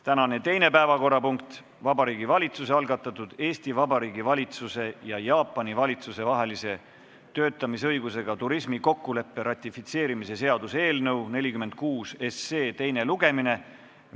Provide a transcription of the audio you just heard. Tänane teine päevakorrapunkt on Vabariigi Valitsuse algatatud Eesti Vabariigi valitsuse ja Jaapani valitsuse vahelise töötamisõigusega turismi kokkuleppe ratifitseerimise seaduse eelnõu 46 teine lugemine.